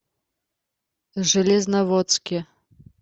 железноводске